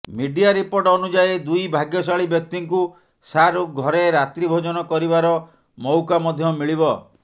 media report ଅନୁଯାୟୀ ଦୁଇ ଭାଗ୍ୟଶାଳୀ ବ୍ୟକ୍ତିଙ୍କୁ ଶାହରୁଖ ଘରେ ରାତ୍ରି ଭୋଜନ କରିବାର ମଉକା ମଧ୍ୟ ମିଳିବ